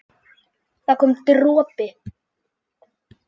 það kom dropi.